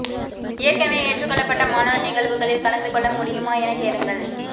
ஏற்கெனவே ஏற்றுக்கொள்ளப்பட்ட மாணவர் நிகழ்வுகளில் கலந்து கொள்ள முடியுமா எனக் கேளுங்கள்